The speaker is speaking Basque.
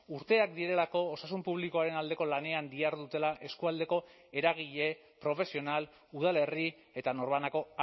urteak direlako osasun publikoaren aldeko lanean dihardutela eskualdeko eragile profesional udalerri eta norbanako